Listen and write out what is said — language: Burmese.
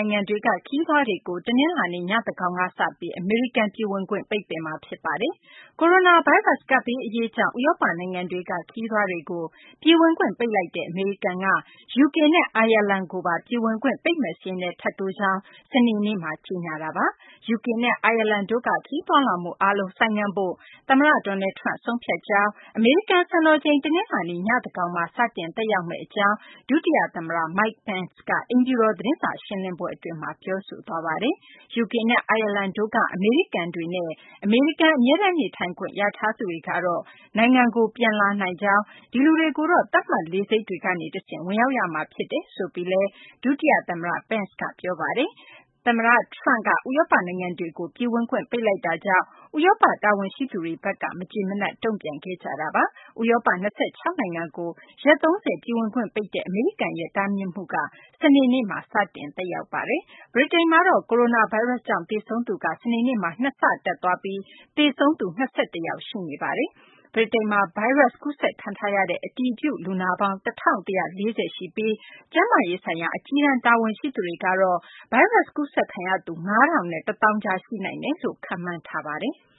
ိုင်ငံတွေက ခရီးသွားတွေကို တနင်္လာနေ့ ညသန်းခေါင်ကစပြီး အမေရိကန်ပြည်ဝင်ခွင့် ပိတ်ပင်မှာဖြစ်ပါတယ်။ ကိုရိုနာဗိုင်းရပ်စ် ကပ်ဘေးအရေးကြောင့် ဥရောပနိုင်ငံတွေက ခရီးသွားတွေကို ပြည်ဝင်ခွင့်ပိတ်လိုက်တဲ့ အမေရိကန်က UK နဲ့ အိုင်ယာလန်ကိုပါ ပြည်ဝင်ခွင့် ပိတ်မယ့်စာရင်းထဲ ထပ်တိုးကြောင်း စနေနေ့မှာ ကြေညာလိုက်တာပါ။ UK နဲ့ အိုင်ယာလန်တို့က ခရီးသွားလာမှုအားလုံး ဆိုင်းငံ့ဖို့ သမ္မတ Donald Trump က ဆုံးဖြတ်ကြောင်း၊ အမေရိကန် စံတော်ချိန် တနလာၤနေ့ ညသန်းခေါင်မှာ စတင်သက်ရောက်မယ့်အကြောင်း ဒုတိယသမ္မတ Mike Pence က အိမ်ဖြူတော် သတင်းစာရှင်းလင်းပွဲအတွင်း ပြောဆိုသွားပါတယ်။ UK နဲ့ အိုင်ယာလန်တို့က အမေရိကန်တွေနဲ့ အမေရိကန် အမြဲတမ်းနေထိုင်ခွင့် ရထားသူတွေကတော့ ပြန်လာနိုင်ကြောင်း၊ ဒီလူတွေကိုတော့ သတ်မှတ် လေဆိပ်တွေကနေတဆင့် ဝင်ရောက်ရမှာ ဖြစ်တယ်လို့လည်း ဒုတိယသမ္မတ Pence က ပြောပါတယ်။ သမ္မတ Trump က ဥရောပနိုင်ငံတွေကို ပြည်ဝင်ခွင့် ပိတ်လိုက်တာကြောင့် ဥရောပ တာဝန်ရှိသူတွေဘက်က မကျေမနပ် တုံ့ပြန်ခဲ့ကြပါတယ်။ ဥရောပ ၂၆ နိုင်ငံကို ရက် ၃၀ ပြည်ဝင်ခွင့်ပိတ်တဲ့ အမေရိကန်ရဲ့ တားမြစ်မှုက စနေနေ့မှာ စတင်သက်ရောက်ပါတယ်။ ဗြိတိန်မှာ ကိုရိုနာဗိုင်းရပ်စ်ကြောင့် သေဆုံးသူက စနေနေ့မှာ ၂ ဆတက်သွားပြီး သေဆုံးသူ ၂၁ ယောက် ရှိနေပါတယ်။ ဗြိတိန်မှာ ဗိုင်းရပ်စ် ကူးစက်ခံထားရတဲ့ အတည်ပြုလူနာပေါင်း ၁,၁၄၀ ရှိပြီး ကျန်းမာရေးဆိုင်ရာ အကြီးတန်း တာဝန်ရှိသူတွေကတော့ ဗိုင်းရပ်စ် ကူးစက်ခံရသူ ၅,၀၀၀ နဲ့ ၁၀,၀၀၀ ကြား ရှိနိုင်တယ်လို့ ခန့်မှန်းထားပါတယ်။